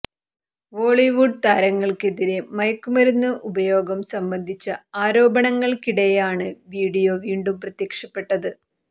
ബോളിവുഡ് താരങ്ങൾക്കെതിരെ മയക്കുമരുന്ന് ഉപയോഗം സംബന്ധിച്ച ആരോപണങ്ങൾക്കിടെയാണ് വീഡിയോ വീണ്ടും പ്രത്യക്ഷപ്പെട്ടത്